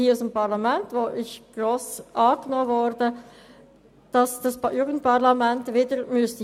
Die Gründung des Jugendparlaments geht übrigens auf einen Vorstoss aus diesem Parlament zurück.